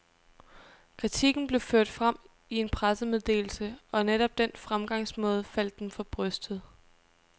Kritikken blev ført frem i en pressemeddelse, og netop den fremgangsmåde faldt dem for brystet.